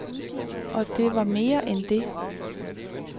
Og det var mere end det.